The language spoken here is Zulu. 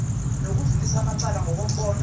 nokudlulisa amacala ngokombono